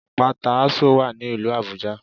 Àpáta Ásò wà ní ìlú Àbújá